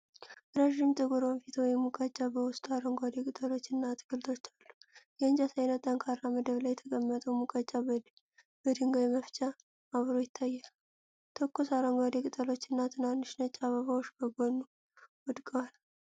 ረዥም ጥቁር ወንፊት (ሙቀጫ) በውስጡ አረንጓዴ ቅጠሎችና አትክልቶች አሉ። የእንጨት ዓይነት ጠንካራ መደብ ላይ የተቀመጠው ሙቀጫ በድንጋይ መፍጫ አብሮ ይታያል። ትኩስ፣ አረንጓዴ ቅጠሎች እና ትናንሽ ነጭ አበባዎች ከጎኑ ወድቀዋል።